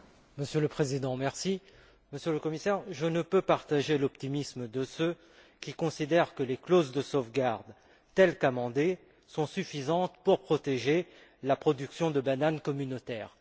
Monsieur le Président, Monsieur le Commissaire, je ne peux partager l'optimisme de ceux qui considèrent que les clauses de sauvegarde, telles qu'amendées, sont suffisantes pour protéger la production de bananes communautaires.